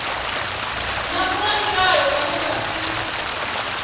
na vhoramilayo vhane vha si